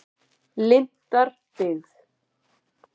Lindarbyggð